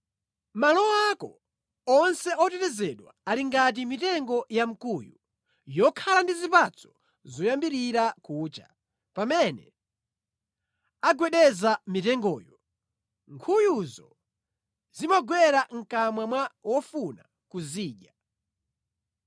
Malo ako onse otetezedwa ali ngati mitengo ya mkuyu yokhala ndi zipatso zoyambirira kucha; pamene agwedeza mitengoyo, nkhuyuzo zimagwera mʼkamwa mwa wofuna kuzidya.